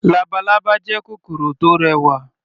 Labalábá jẹ́ kòkòrò tó rẹwà.